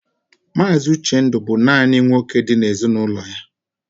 Mazi Uchendu bú nanị nwoke dị n'ezinụlọ ya.